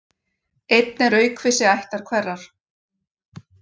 Einn er aukvisi ættar hverrar.